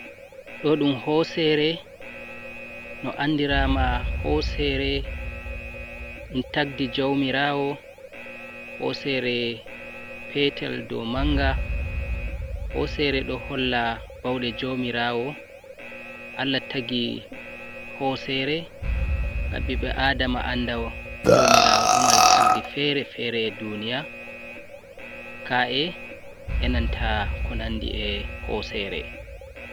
Ɗo'oɗum Hosere, No Anɗirama Hosere Ɗum Tagɗi Jawmiraawo, Hosere Petel ɗo Manga Hosere Ɗo Holla Ɓauɗe Jawmiraawo Allah Taggi Hosere Ha Ɓiɓɓe Aɗama Anɗa Jawmiraawo Ɗo Mari Tagɗi Fere Fere, Ɗuniya Ka’e E'nanta Ko Nanɗi E Hosere.